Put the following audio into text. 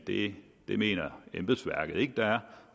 det mener embedsværket ikke der er